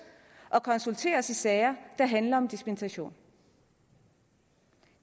og konsulteres i sager der handler om dispensation